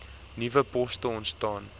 nuwe poste ontstaan